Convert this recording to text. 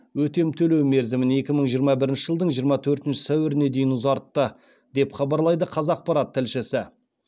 өтем төлеу мерзімін екі мың жиырма бірінші жылдың жиырма төртінші сәуіріне дейін ұзартты деп хабарлайды қазақпарат тілшісі